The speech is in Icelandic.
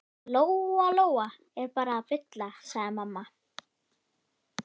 Lóa Lóa er bara að bulla, sagði mamma.